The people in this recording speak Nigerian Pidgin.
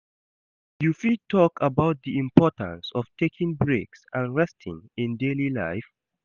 You fit talk about di importance of taking breaks and resting in daily life.